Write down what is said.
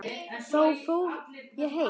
Þá fór ég heim.